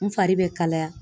N fari bɛ kalaya